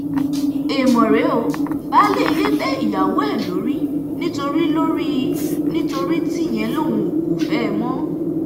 èèmọ̀ rèé ó baálé ilé bẹ́ ìyàwó ẹ̀ lórí nítorí lórí nítorí tíyẹn lòun kò fẹ́ ẹ mọ́